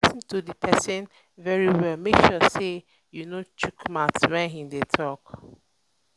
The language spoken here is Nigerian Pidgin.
try lis ten to di persin very well make sure say you no shook mouth when im de talk